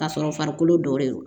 Ka sɔrɔ farikolo dɔ de don